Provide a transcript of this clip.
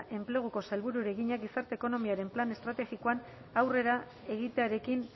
enpleguko sailburuari egina gizarte ekonomiaren plan estrategikoan aurrera egitearekin